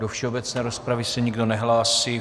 Do všeobecné rozpravy se nikdo nehlásí.